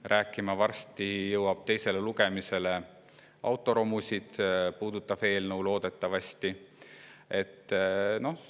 loodetavasti varsti jõuab teisele lugemisele autoromusid puudutav eelnõu, millest me hakkame siin rääkima.